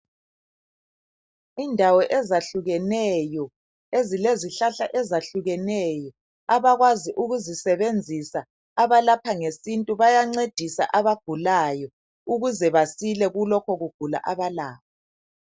Indawo ezahlukeneyo, ezilezihlahla ezahlukeneyo, abakwazi ukuzisebenzisa abalapha ngesintu bayancedisa abagulayo ukuze basile kulokhu kugula abalakho.